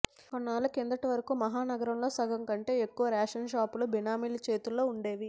కొన్నేళ్ల కిందటి వరకు మహానగరంలో సగంకంటే ఎక్కువ రేషన్షాపులు బినామీల చేతుల్లోనే ఉండేవి